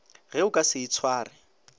ge o ka se itshware